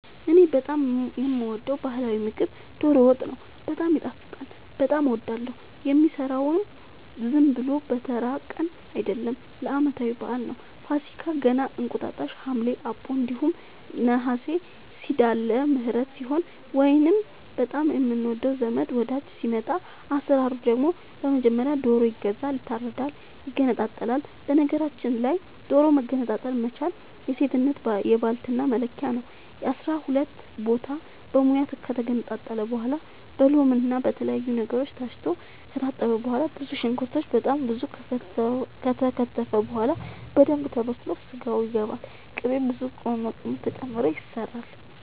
እኔ በጣም የምወደው በህላዊ ምግብ ዶሮ ወጥ ነው። በጣም ይጣፍጣል በጣም አወዳለሁ። የሚሰራውም ዝም ብሎ በተራ ቀን አይደለም ለአመታዊ በአል ነው። ፋሲካ ገና እንቁጣጣሽ ሀምሌ አቦ እንዲሁም ነሀሴ ሲዳለምህረት ሲሆን ወይንም በጣም የምንወደው ዘመድ ወዳጅ ሲመጣ። አሰራሩ ደግሞ በመጀመሪያ ዶሮ ይገዛል ይታረዳል ይገነጣጠላል በነገራችል ላይ ዶሮ መገንጠል መቻል የሴትነት የባልትና መለኪያ ነው። አስራሁለት ቦታ በሙያ ከተገነጣጠለ በኋላ በሎምና በተለያዩ ነገሮች ታስቶ ከታጠበ በኋላ ብዙ ሽንኩርት በጣም ብዙ ከተከተፈ በኋላ በደንብ ተበስሎ ስጋው ይገባል ቅቤ ብዙ ቅመማ ቅመም ተጨምሮ ይሰራል